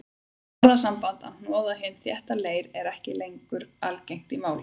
Orðasambandið að hnoða hinn þétta leir er ekki algengt í málinu.